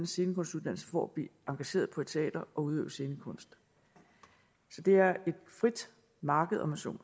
scenekunstuddannelse for at blive engageret på et teater og udøve scenekunst det er et frit marked om man så